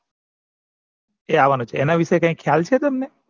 એ આવવાનું છે એના વિશે કઈ ખ્યાલ છે તમને